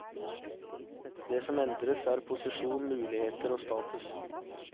Det som endres er posisjon, muligheter og status.